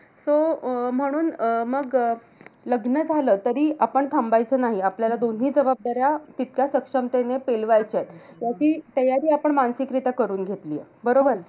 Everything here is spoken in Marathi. So अं म्हणून अं मग लग्न झालं तरी आपण थांबायचं नाही. आपल्याला दोन्ही जबाबदाऱ्या तितक्या सक्षमतेने पेलवायच्या आहेत. याची तयारी आपण मानसिकरीत्या करून घेतलीये. बरोबर?